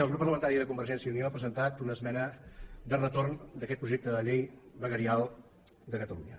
el grup parlamentari de convergència i unió ha presentat una esmena de retorn d’aquest projecte de llei veguerial de catalunya